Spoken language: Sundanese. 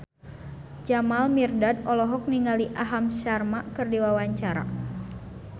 Jamal Mirdad olohok ningali Aham Sharma keur diwawancara